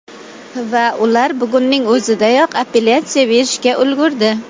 Va ular bugunning o‘zidayoq appelyatsiya berishga ulgurdi .